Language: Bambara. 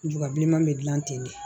Bubabilenman bɛ dilan ten de